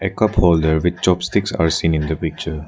A cupholder with chopsticks are seen in the picture.